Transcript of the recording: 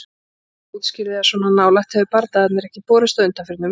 Samstarfskona útskýrði að svona nálægt hefðu bardagarnir ekki borist á undanförnum vikum.